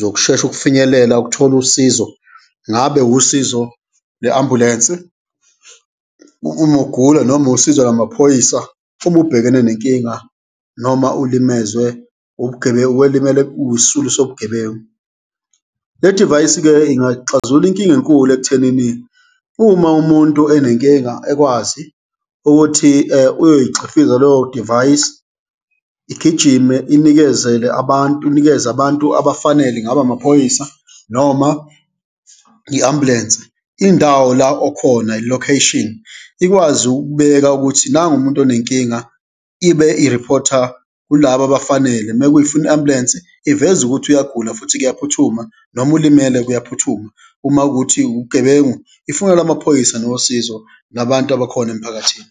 zokushesha ukufinyelela ukuthola usizo, ngabe usizo lwe-ambulensi uma ugula noma usizo lwamaphoyisa uma ubhekene nenkinga noma ulimezwe ubugebengu, welimele uyisisulu sobugebengu. Le divayisi-ke ingaxazulula inkinga enkulu ekuthenini uma umuntu enenkinga ekwazi ukuthi uyoy'xhifiza leyo divayisi, igijime inikezele abantu, inikeze abantu abafanele, ingaba amaphoyisa noma i-ambulensi, indawo la okhona i-location, ikwazi ukubeka ukuthi nangumuntu onenkinga ibe iriphotha kulaba abafanele. Mekuyifuna i-ambulensi, iveza ukuthi uyagula futhi kuyaphuthuma noma ulimele, kuyaphuthuma, uma kuwukuthi ubugebengu, ifonela amaphoyisa nosizo nabantu abakhona emphakathini.